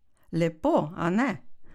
Lepo, a ne?